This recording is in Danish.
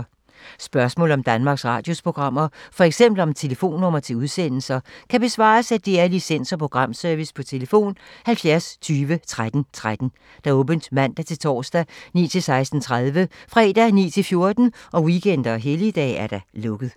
Spørgsmål om Danmarks Radios programmer, f.eks. om telefonnumre til udsendelser, kan besvares af DR Licens- og Programservice: tlf. 70 20 13 13, åbent mandag-torsdag 9.00-16.30, fredag 9.00-14.00, weekender og helligdage: lukket.